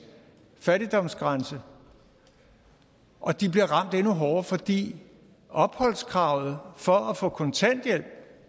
fattigdomsgrænse og de bliver ramt endnu hårdere fordi opholdskravet for at få kontanthjælp